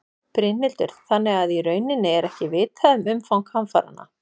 Brynhildur: Þannig að í rauninni er ekki vitað um umfang hamfaranna?